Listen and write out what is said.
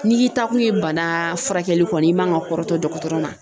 N'i k'i taakun ye bana furakɛli kɔni i man ka kɔrɔtɔ dɔgɔtɔrɔ ma.